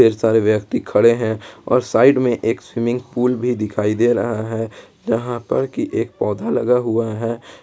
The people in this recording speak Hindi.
सारे व्यक्ति खड़े हैं और साइड में एक स्विमिंग पूल भी दिखाई दे रहा है यहां पर कि एक पौधा लगा हुआ है।